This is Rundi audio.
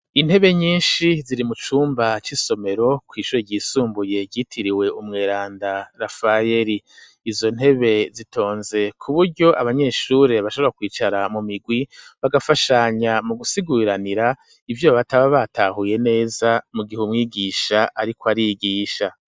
Intebe nyishi ziri mu cumba c'isomero kw'ishure ryisumbuye ryitiriwe umweranda Rafayeri izo ntebe zitonze ku buryo abanyeshure bashobora kwicara mu mirwi bagafashanya mu gusiguriranira ivyo bataba batahuye neza mu gihe umwigisha ariko arigisha.